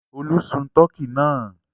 Olú sun tọkí náà?